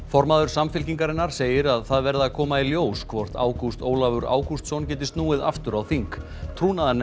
formaður Samfylkingarinnar segir að það verði að koma í ljós hvort Ágúst Ólafur Ágústsson geti snúið aftur á þing